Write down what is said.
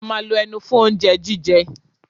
A ma lo ẹnu fún oúnjẹ jíjẹ.